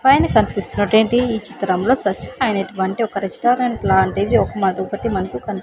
పైన కనిపిస్తున్నటువంటి ఈ చిత్రంలో దర్ ఐనటువంటి ఒక రెస్టారెంట్ లాంటిది ఒకటి మనకు కనిప్.